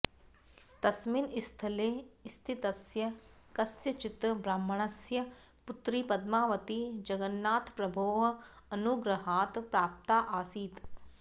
तस्मिन् स्थले स्थितस्य कस्यचित् ब्राह्मणस्य पुत्री पद्मावती जगन्नाथप्रभोः अनुग्रहात् प्राप्ता आसीत्